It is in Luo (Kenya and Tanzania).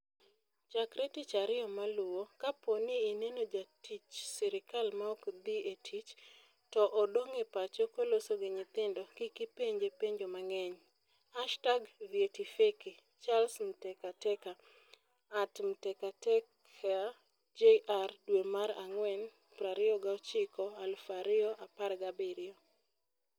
Chakre Tich Ariyo maluwo, kapo ni ineno jatich sirkal maok dhi e tich, to odong ' e pacho koloso gi nyithindo, kik ipenje penjo mang'eny! #VyetiFeki ? Charles Mtekateka (@mtekatekajr) dwe mara ngwen 29, 2017